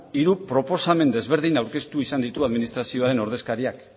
hiru proposamen desberdin aurkeztu izan ditu administrazioaren ordezkariak